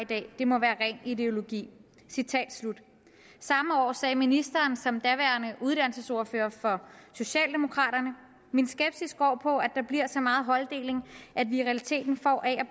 dag det må være ren ideologi samme år sagde ministeren som daværende uddannelsesordfører for socialdemokraterne min skepsis går på at der bliver så meget holddeling at vi i realiteten får a